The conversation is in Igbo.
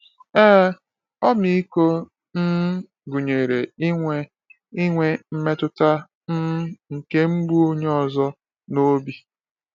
Ee, ọmịiko um gụnyere inwe inwe mmetụta um nke mgbu onye ọzọ n’obi anyị.